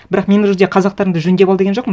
бірақ мен ол жерде қазақтарыңды жөндеп ал деген жоқпын